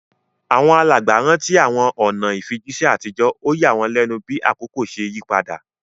Àwọn alàgbà rántí àwọn ọ̀nà ìfijíṣẹ́ àtijọ́, ó yà wọ́n lẹ́nu bí àkókò ṣe yí padà.